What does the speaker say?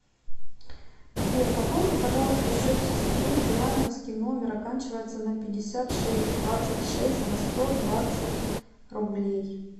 сбер пополни пожалуйста счет сестры билайновский номер оканчивается на пятьдесят шесть двадцать шесть на сто двадцать рублей